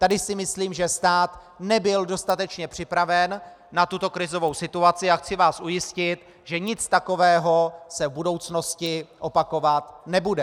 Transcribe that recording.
Tady si myslím, že stát nebyl dostatečně připraven na tuto krizovou situaci, a chci vás ujistit, že nic takového se v budoucnosti opakovat nebude.